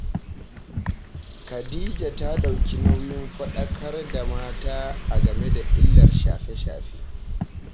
Khadija ta ɗauki nauyin faɗakar da mata a game da illar shafe-shafe